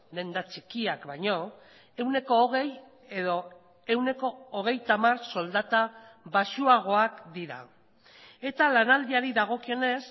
denda txikiak baino ehuneko hogei edo ehuneko hogeita hamar soldata baxuagoak dira eta lanaldiari dagokionez